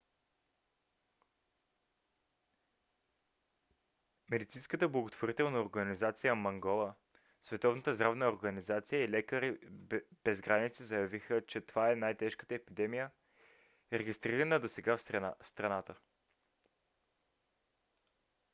медицинската благотворителна организация mangola световната здравна организация и лекари без граници заявиха че това е най-тежката епидемия регистрирана досега в страната